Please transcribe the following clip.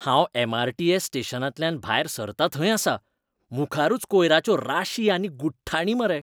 हांव एम.आर.टी.एस. स्टेशनांतल्यान भायर सरता थंय आसा, मुखारूच कोयराच्यो राशी आनी गुठ्ठाणी मरे!